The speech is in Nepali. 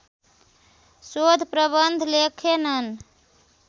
शोध प्रबन्ध लेखेनन्